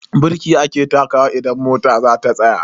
Birki ake takawa idan mota zata tsaya.